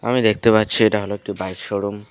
আমি দেখতে পাচ্ছি এটা হল একটি বাইক শোরুম ।